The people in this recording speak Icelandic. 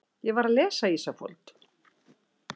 Ég var að lesa Ísafold.